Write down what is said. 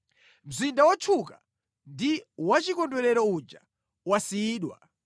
Mzinda wotchuka ndi wachikondwerero uja wasiyidwa!